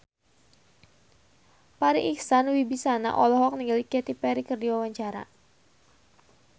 Farri Icksan Wibisana olohok ningali Katy Perry keur diwawancara